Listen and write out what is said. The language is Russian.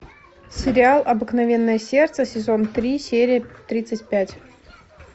сериал обыкновенное сердце сезон три серия тридцать пять